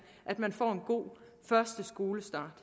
at man får en god første skolestart